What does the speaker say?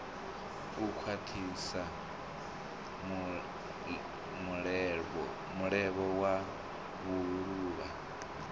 u khwathisa mulevho wa vhuluvha